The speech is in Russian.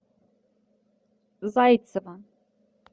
зайцева